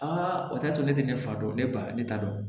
o t'a sɔrɔ ne tɛ ne fa dɔn ne ba ne t'a dɔn